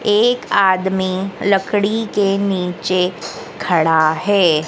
एक आदमी लकड़ी के नीचे खड़ा है।